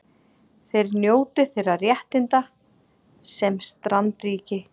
Þeir njóti þeirra réttinda sem strandríki